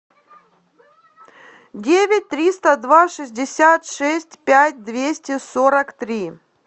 девять триста два шестьдесят шесть пять двести сорок три